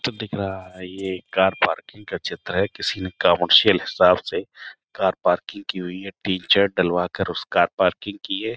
दिख रहा है ये कार पार्किंग का चित्र है। किसी ने कॉमर्शियल हिसाब से कार पार्किंग की हुई है। टिन शेड डलवाकर उस कार पार्किंग की है।